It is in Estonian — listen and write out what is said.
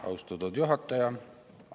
Austatud juhataja!